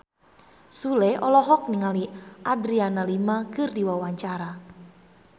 Sule olohok ningali Adriana Lima keur diwawancara